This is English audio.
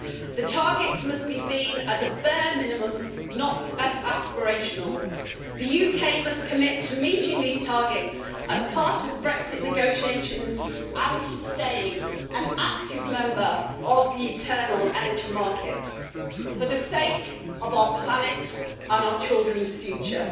The targets must be seen as a bare minimum, not as aspirational. The UK must commit to meeting these targets as part of the Brexit negotiations and to staying an active member of the Internal Energy Market, for the sake of our planet and our children's future.